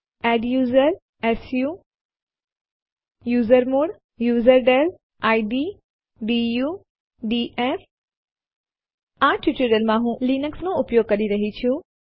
adduser su usermod userdel id du df આ ટ્યુટોરીયલમાં હું લીનક્સ નો ઉપયોગ કરી રહી છું